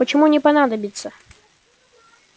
почему не понадобится